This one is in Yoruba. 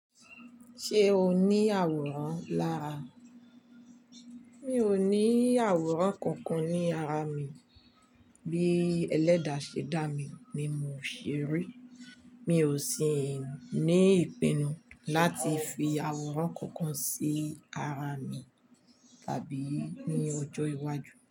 Se o ni aworan lara. Mi ò ní àwòrán kankan ní ara mi. Bí ẹlẹ́dà ṣe dá mi ni mo ṣe rí. Mi ò sì ní ìpinnu láti fi àwòrán kankan sí ara mi tàbí ní ọjọ́ iwájú.